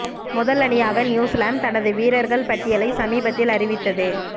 முதல் அணியாக நியூசிலாந்து தனது வீரர்கள் பட்டியலை சமீபத்தில் அறிவித்தது